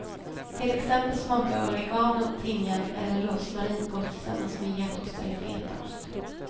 Till exempel smakar oregano, timjan eller rosmarin gott tillsammans med getost eller fetaost.